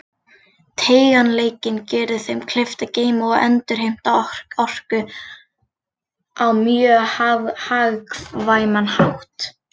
Teygjanleikinn gerir þeim kleift að geyma og endurheimta orku á mjög hagkvæman hátt.